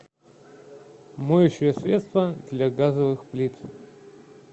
моющее средство для газовых плит